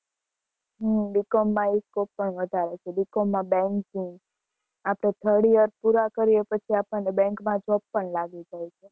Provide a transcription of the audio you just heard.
હા B. Com માં એ scope વધારે છે B. Com માં banking ની આપડે third year પુરા કરીયે પછી આપણ ને bank માં job પણ લાગી જાય છે.